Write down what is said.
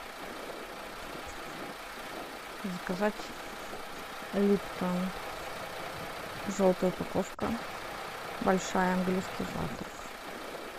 заказать липтон желтая упаковка большая английский завтрак